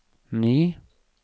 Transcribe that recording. ny